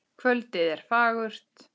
Kvöldið er fagurt.